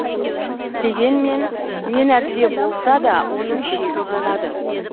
дегенмен не нәрсе болса да оның шегі болады